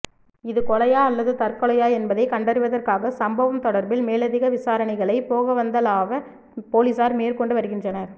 இது கொலையா அல்லது தற்கொலையா என்பதை கண்டறிவற்காக சம்பவம் தொடர்பில் மேலதிக விசாரணைகளை பொகவந்தலாவ பொலிஸார் மேற்கொண்டு வருகின்றனர்